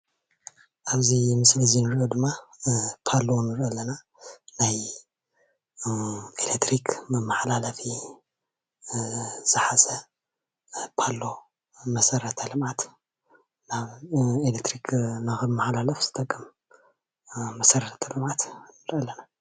ኣብዚ ምስሊ እዚ ንሪኦ ድማ ፓሎ ንሪኢ ኣለና. ናይ ኤለትሪክ መመሓላለፊ ዝሓዘ ፓሎ መሰረተ ልምዓት ን ኤለክትሪክ ንክመሓላለፍ ዝጠቅም መሰረት ልምዓት ንርኢ ኣለና::